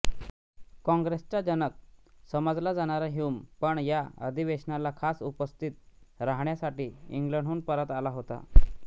काँग्रेसचा जनक समजला जाणारा ह्यूम पण या अधिवेशनाला खास उपस्थित राहण्यासाठी इंग्लंडहून परत आला होता